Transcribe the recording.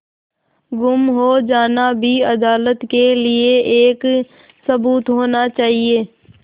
गुम हो जाना भी अदालत के लिये एक सबूत होना चाहिए